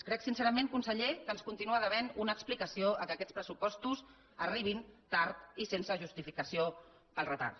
crec sincerament conseller que ens continua devent una explicació pel fet que aquests pressupostos arribin tard i sense justificació pel retard